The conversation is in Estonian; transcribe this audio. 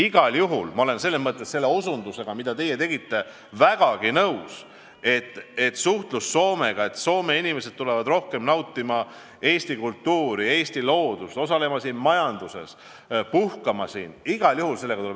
Igal juhul olen ma väga nõus selle osutusega, mida te tegite, et sellega tuleb edasi tegeleda, tuleb suhelda Soomega, et Soome inimesed tuleksid rohkem nautima Eesti kultuuri ja loodust, osalema siinses majanduses, puhkama siin.